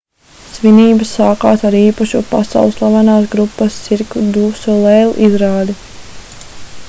svinības sākās ar īpašu pasaulslavenās grupas cirque du soleil izrādi